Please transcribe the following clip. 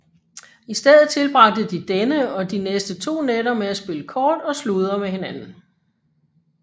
I stedet tilbragte de denne og de næste to nætter med at spille kort og sludre med hinanden